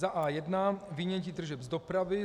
A.1 Vynětí tržeb z dopravy